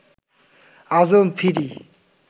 আজো ফিরি